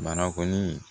Bana kɔni